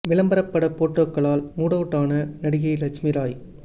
விளம்பர பட போட்டோக்களால் மூடுஅவுட் ஆன நடிகை லட்சுமிராய்